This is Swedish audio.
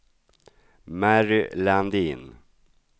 Mary Landin